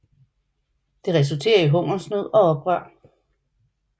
Det resulterer i hungersnød og oprør